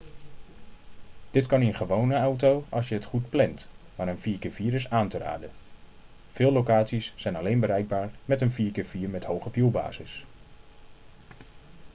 dit kan in een gewone auto als je het goed plant maar een 4x4 is aan te raden; veel locaties zijn alleen bereikbaar met een 4x4 met hoge wielbasis